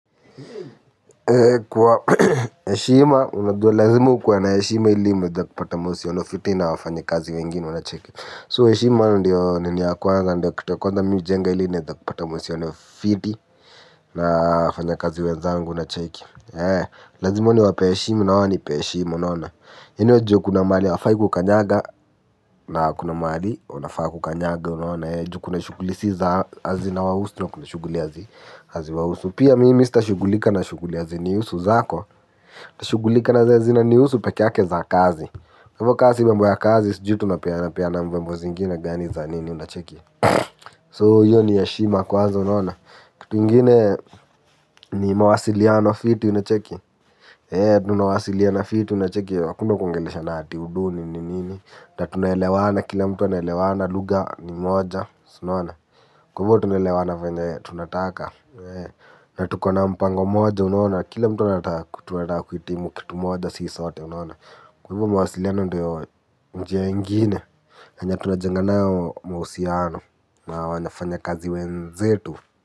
Kwa heshima, unajua lazima ukuwe na heshima ili muweze kupata mahusiano fiti na wafanyi kazi wengine unacheki So heshima ndio nini ya kwanza ndio kitu ya kwanza mi hujenga ili niweze kupata mahusiano fiti na wafanya kazi wenzangu unacheki. Lazima niwapee heshima na wao wanipe heshima unaona yaani wajue kuna mahali hawafai kukanyaga na kuna mahali wanafaa kukanyaga unaona juu kuna shughuli si za haziwahusu na kuna shughuli hazi hazi wahusu. Pia mimi stashughulika na shughuli hazinihusu zako. Tashughulika na zenye zina nihusu pekee yake za kazi hivo ka si mambo ya kazi sijui tunapeana peana mambo zingine gani za nini unacheki. So hiyo ni heshima kwanza unaona kitu ingine ni mawasiliano fiti unacheki. Eee tunawasiliana fiti unacheki hakuna kuongeleshana ati udu nini nini na tunaelewana kila mtu anaelewana lugha ni moja. Kwa hivyo tunaelewana venye tunataka. Na tukona mpango moja unaona, kila mtu anataka tunataka kuhitimu kitu moja sisi sote unaona. Kwa hivyo mawasiliano ndio njia ingine yenye tunajenga nayo mahusiano na wanyafanya kazi wenzetu.